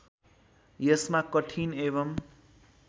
यसमा कठिन एवं